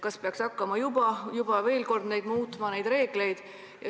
Kas peaks juba hakkama neid reegleid muutma?